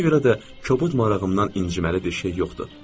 Ona görə də kobud marağımdan inciməli bir şey yoxdur.